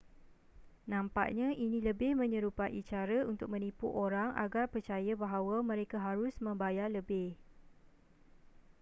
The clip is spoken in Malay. nampaknya ini lebih menyerupai cara untuk menipu orang agar percaya bahwa mereka harus membayar lebih